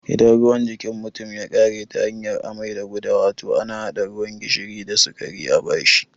Idan ruwan jikin mutum ya ƙare ta hanyar amai da gudawa, to ana haɗa ruwan gishiri da sikari a bashi